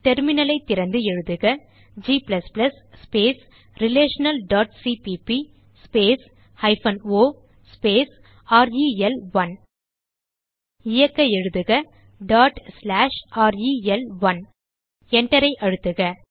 terminal ஐ திறந்து எழுதுக g relationalசிபிபி o ரெல்1 இயக்க எழுதுக ரெல்1 Enter ஐ அழுத்துக